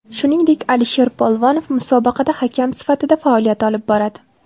Shuningdek, Alisher Polvonov musobaqada hakam sifatida faoliyat olib boradi.